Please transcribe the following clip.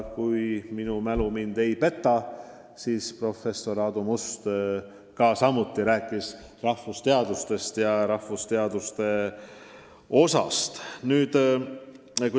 Kui minu mälu mind ei peta, siis rääkis ka professor Aadu Must rahvusteaduste tähtsusest.